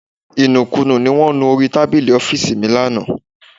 Ìnùkunù ní wọn nú orí tábìlì ọ́fíìsì mi lánàá